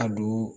A don